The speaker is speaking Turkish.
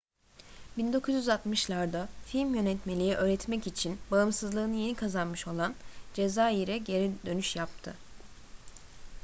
1960'larda film yönetmenliği öğretmek için bağımsızlığını yeni kazanmış olan cezayir'e geri dönüş yaptı